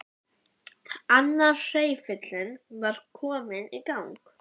Annar hreyfillinn var kominn í gang.